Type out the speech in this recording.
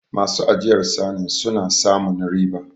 Masu ajiyar sanin suna samun riba